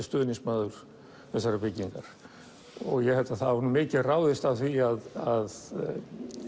stuðningsmaður þessarar byggingar ég held að það hafi mikið ráðist af því að